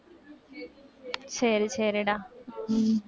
சரி, சரிடா. உம்